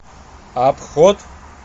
обход